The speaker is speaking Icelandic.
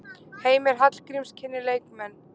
Heimir Hallgríms kynnir leikmenn.